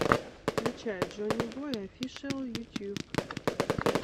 включай джоннибой офишиал ютьюб